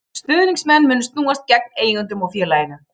Stuðningsmenn munu snúast gegn eigendunum og félaginu.